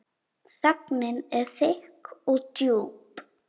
Þögnin er þykk og djúp.